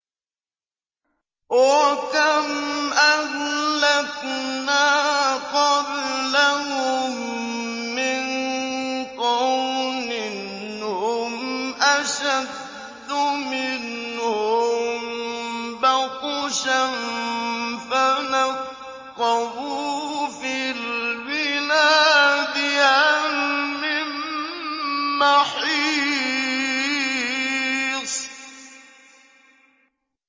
وَكَمْ أَهْلَكْنَا قَبْلَهُم مِّن قَرْنٍ هُمْ أَشَدُّ مِنْهُم بَطْشًا فَنَقَّبُوا فِي الْبِلَادِ هَلْ مِن مَّحِيصٍ